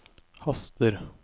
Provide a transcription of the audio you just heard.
haster